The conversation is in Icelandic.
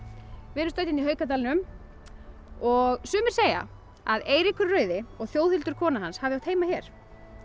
við erum stödd hérna í Haukadalnum og sumir segja að Eiríkur rauði og Þjóðhildur kona hans hafi átt heima hér